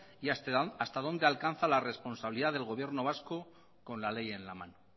y hasta dónde alcanza la responsabilidad del gobierno vasco con la ley en la mano